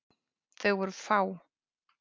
Þau voru fá.